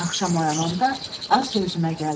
Axşam oyananda azca özümə gəldim.